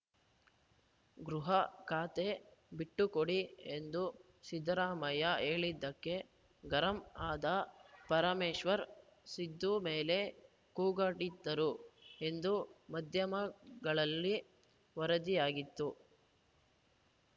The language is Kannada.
ಗೃಹ ಖಾತೆ ಬಿಟ್ಟುಕೊಡಿ ಎಂದು ಸಿದ್ದರಾಮಯ್ಯ ಹೇಳಿದ್ದಕ್ಕೆ ಗರಂ ಆದ ಪರಮೇಶ್ವರ್‌ ಸಿದ್ದು ಮೇಲೆ ಕೂಗಾಡಿದ್ದರು ಎಂದು ಮಾಧ್ಯಮಗಳಲ್ಲಿ ವರದಿಯಾಗಿತ್ತು